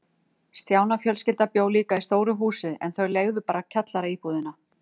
Stjána fjölskylda bjó líka í stóru húsi, en þau leigðu bara kjallaraíbúðina.